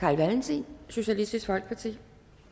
carl valentin socialistisk folkeparti